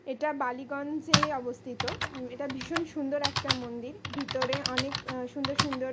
এটা বালিগঞ্জে-এ অবস্থিত। উ এটা ভীষণ সুন্দর একটা মন্দির। ভিতরে অনেক আ সুন্দর সুন্দর।